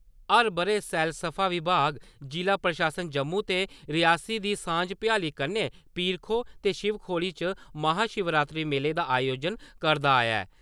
हर ब'रे सैलसफा विभाग, जि'ला प्रशासन जम्मू ते रियासी दी सांझ-भयाली कन्नै पीर-खो ते शिव खोड़ी च महा-शिवरात्री मेले दा आयोजन करदा आया ऐ ।